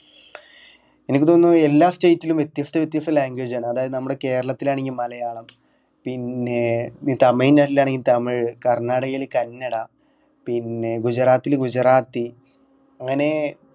എനിക്ക് തോന്നുന്നു എല്ലാ state ലും വ്യത്യസ്ത വ്യത്യസ്ത language ആണ് അതായത് നമ്മടെ കേരളത്തില് ആണെങ്കിൽ മലയാളം പിന്നെ തമിഴ്‌നാട്ടിലാണെങ്കില് തമിഴ് കർണ്ണാടകത്തിൽ കന്നഡ പിന്നെ ഗുജറാത്തിൽ ഗുജറാത്തി അങ്ങനെ